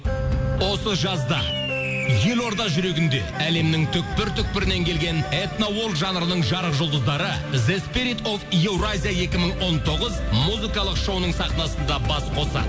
осы жазда елорда жүрегінде әлемнің түпкір түпкірінен келген этно жанрының жарық жұлдыздары еуразия екі мың он тоғыз музыкалық шоуының сахнасында бас қосады